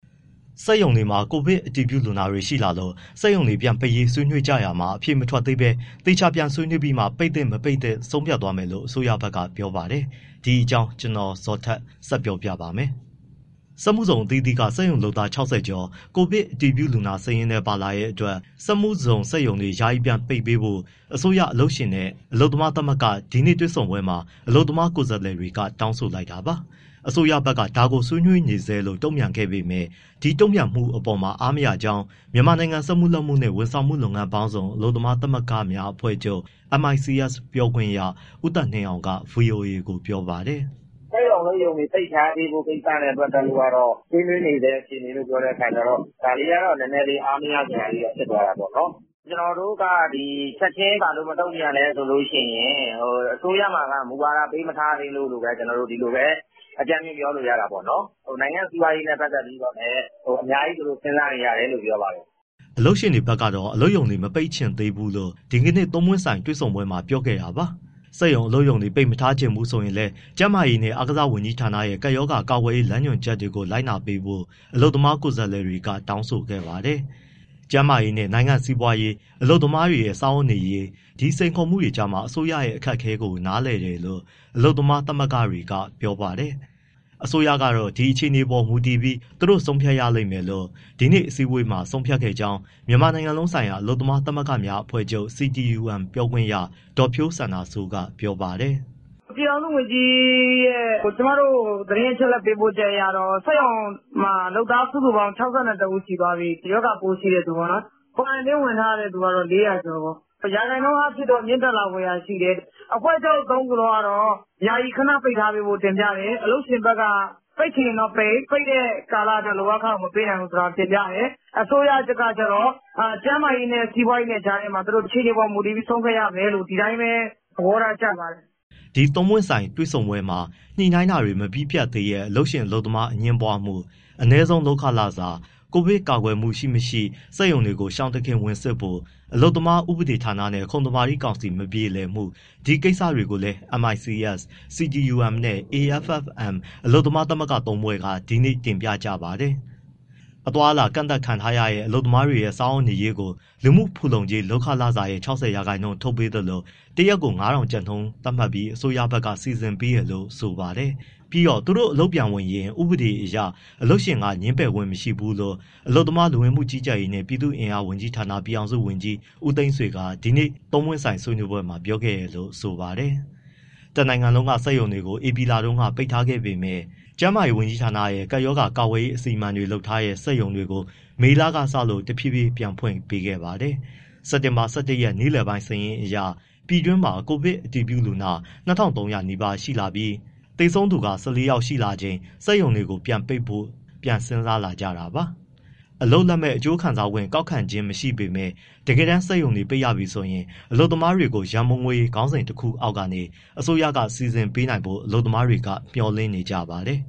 စက်ရုံတွေမှာ ကိုဗစ်အတည်ပြုလူနာတွေ ရှိလာလို့ စက်ရုံတွေ ပြန်ပိတ်ရေး ဆွေးနွေးကြတာမှာ အဖြေမထွက်သေးဘဲ သေချာပြန်ဆွေးနွေးပြီးမှ ပိတ်သင့်၊ မပိတ်သင့်ဆိုတာ ဆုံးဖြတ်သွားမယ်လို့ အစိုးရဘက်ကပြောပါတယ်။ ဒီအကြောင်း ဗွီအိုအေမြန်မာပိုင်းသတင်းထောက် ကိုဇော်ထက် ဆက်ပြောပြပါမယ်။ စက်မှုဇုန်အသီးသီးက စက်ရုံလုပ်သား ၆၀ ကျော် ကိုဗစ်အတည်ပြု လူနာစာရင်းထဲ ပါလာတဲ့အတွက် စက်မှုဇုန် စက်ရုံတွေ ယာယီပြန်ပိတ်ပေးဖို့ အစိုးရ၊ အလုပ်ရှင်နဲ့ အလုပ်သမားသမဂ္ဂ ဒီနေ့တွေ့ဆုံပွဲမှာ အလုပ်သမား ကိုယ်စားလှယ်တွေက တောင်းဆိုလိုက်တာပါ။ အစိုးရဘက်ကတော့ ဒါကို ဆွေးနွေးနေဆဲလို့ တုံ့ပြန်ခဲ့ပေမဲ့ ဒီတုံ့ပြန်မှုအပေါ်မှာ အားမရကြောင်း မြန်မာနိုင်ငံ စက်မှုလက်မှုနှင့် ဝန်ဆောင်မှုလုပ်ငန်းပေါင်းစုံ အလုပ်သမားသမဂ္ဂများ အဖွဲ့ချုပ် ပြောခွင့်ရ ဦးသက်နှင်းအောင်က ဗွီအိုအေကို ပြောပါတယ်။ “စက်ရုံအလုပ်ရုံတွေ ပိတ်ထားပေးဖို့ ကိစ္စအတွက်ကတော့ ဆွေးနွေးနေဆဲ အခြေအနေလို့ ပြောတဲ့အခါကျတော့ ဒါလေးက နည်းနည်းလေး အားမရစရာလေးတော့ ဖြစ်သွားတာပေါ့။ ကျနော်တို့က ဘာလို့ချက်ချင်း မတုံ့ပြန်လဲဆိုရင် အစိုးရမှာက မူဝါဒ ပေးမထားသေးလို့ဘဲ၊ ကျနော်တို့ ဒီလိုပဲ အကြမ်းဖျင်းပြောလို့ရတာပေါ့နော်။ နိုင်ငံ့ စီးပွားရေးနဲ့ ပတ်သက်လို့လည်း အများကြီးသူတို့ စဉ်းစားနေရတယ်လို့ ပြောပါတယ်။” အလုပ်ရှင်တွေဘက်ကတော့ အလုပ်ရုံတွေ မပိတ်ချင်သေးဘူးလို့ ဒီကနေ့ သုံးပွင့်ဆိုင်တွေ့ဆုံပွဲမှာ ပြောခဲ့တာပါ။ စက်ရုံအလုပ်ရုံတွေ ပိတ်မထားချင်ဘူးဆိုရင်လည်း ကျန်းမာရေးနှင့်အားကစား ဝန်ကြီးဌာနရဲ့ ကပ်ရောဂါကာကွယ်ရေး လမ်းညွှန်ချက်တွေ လိုက်နာပေးဖို့ အလုပ်သမား ကိုယ်စားလှယ်တွေက တောင်းဆိုခဲ့ပါတယ်။ ကျန်းမာရေးနဲ့ နိုင်ငံ့စီးပွားရေး၊ အလုပ်သမားတွေ စားဝတ်နေရေး ဒီစိန်ခေါ်မှုတွေကြားက အစိုးရအခက်အခဲကို နားလည်တယ်လို့ အလုပ်သမား သမဂ္ဂတွေက ပြောပါတယ်။ အစိုးရကတော့ ဒီအခြေအနေတွေပေါ် မူတည်ပြီး သူတို့ဆုံးဖြတ်ရမယ်လို့ ဒီနေ့အစည်းအဝေးမှာ ဆုံးဖြတ်ခဲ့ကြောင်း မြန်မာနိုင်ငံလုံးဆိုင်ရာ အလုပ်သမားသမဂ္ဂများ အဖွဲ့ချုပ် ပြောခွင့်ရ ဒေါ်ဖြိုးစန္ဒာစိုးက ပြောပါတယ်။ “ပြည်ထောင်စုဝန်ကြီးရဲ့ကျမတို့ကို သတင်းအချက်အလက် ပေးပို့ချက်အရတော့ စက်ရုံတွေမှာ လုပ်သားစုစုပေါင်း ၆၁ ဦး ရှိသွားပြီ၊ ရောဂါပိုးရှိတဲ့သူပေါ့နော်။ Quarantine ဝင်ထားတဲ့သူကတော့ ၄၀၀ ကျော်ပေါ့။ ရာခိုင်နှုန်းအားဖြင့်တော့ မြင့်တက်လာဖွယ်ရာရှိတယ်၊ အဖွဲ့ချုပ် သုံးခုလုံးကတော့ ယာယီခဏပိတ်ထားပေးဖို့ တင်ပြတယ်၊ အလုပ်ရှင်ဘက်က ပိတ်ချင်ရင်တော့ပိတ်၊ ပိတ်တဲ့ကာလအတွက် လုပ်အားခမပေးနိုင်ဘူးဆိုတာ တင်ပြတယ်။ အစိုးရကတော့ ကျန်းမာရေးနဲ့ စီးပွားရေးကြားမှာ အခြေအနေပေါ်မူတည်ပြီး သူတို့ဆုံးဖြတ်ရမယ်လို့ ဒီအတိုင်းပဲ သဘောထားကျပါတယ်။” ဒီသုံးပွင့်ဆိုင်တွေ့ဆုံပွဲမှာ ညှိနှိုင်းတာတွေ မပြီးပြတ်သေးတဲ့ အလုပ်ရှင် အလုပ်သမားအငြင်းပွားမှု၊ အနည်းဆုံးလုပ်ခလစာ၊ ကိုဗစ်ကာကွယ်မှုရှိမရှိ စက်ရုံတွေကို ရှောင်တခင်ဝင်စစ်ဖို့၊ အလုပ်သမားဥပဒေဌာနနဲ့ ခုံသမာဓိကောင်စီမပြေလည်မှု ဒီကိစ္စတွေကိုလည်း MICS, CTUM နဲ့ AFFM အလုပ်သမား သမဂ္ဂသုံးဖွဲ့က ဒီနေ့ တင်ပြကြပါတယ်။ အသွားအလာကန့်သတ်ခံထားရတဲ့ အလုပ်သမားတွေရဲ့ စားဝတ်နေရေးကို လူမှုဖူလုံကြေး လုပ်ခလစာရဲ့ ၆၀ ရာခိုင်နှုန်းထုတ်ပေးသလို၊ တရက်ကို ၅,၀၀၀ ကျပ်နှုန်းသတ်မှတ်ပြီး အစိုးရဘက်က စီစဉ်ပေးတယ်လို့ဆိုပါတယ်။ ပြီးတော့ သူတို့အလုပ်ပြန်ဝင်ရင် ဥပဒေအရ အလုပ်ရှင်က ငြင်းပယ်ခွင့် မရှိဘူးလို့ အလုပ်သမား၊ လူဝင်မှုကြီးကြပ်ရေးနှင့် ပြည်သူ့အင်အားဝန်ကြီးဌာန ပြည်ထောင်စုကြီး ဦးသိန်းဆွေက ဒီနေ့ သုံးပွင့်ဆိုင် ဆွေးနွေးပွဲမှာ ပြောခဲ့တယ်လို့ ဆိုပါတယ်။ တနိုင်ငံလုံးက စက်ရုံတွေကို ဧပြီလတုန်းက ပိတ်ထားခဲ့ပေမဲ့ ကျန်းမာရေးဝန်ကြီးဌာနရဲ့ ကပ်ရောဂါကာကွယ်ရေး အစီအမံတွေလုပ်ထားတဲ့ စက်ရုံတွေကို မေလကစလို့ တဖြည်းဖြည်းပြန်ဖွင့်ခွင့် ပေးခဲ့ပါတယ်။ စက်တင်ဘာ ၁၁ ရက် နေ့လယ်ပိုင်းစာရင်းအရ ပြည်တွင်းမှာ ကိုဗစ်အတည်ပြုလူနာ ၂,၃၀၀ နီးပါးဖြစ်လာပြီး သေဆုံးသူက ၁၄ ယောက်ရှိလာချိန် စက်ရုံတွေပြန်ပိတ်ဖို့ ပြန်စဉ်းစားလာကြတာပါ။ အလုပ်လက်မဲ့အကျိုးခံစားခွင့် ကောက်ခံထားခြင်း မရှိပေမဲ့ တကယ်တမ်း စက်ရုံတွေ ပိတ်ရပြီဆိုရင် ဒီအလုပ်သမားတွေကို ရန်ပုံငွေခေါင်းစဉ် တခုအောက်ကနေ အစိုးရက စီစဉ်ပေးနိုင်ဖို့ အလုပ်သမားတွေက မျှော်လင့်နေကြပါတယ်